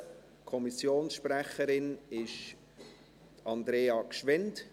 Kommissionssprecherin ist Andrea Gschwend.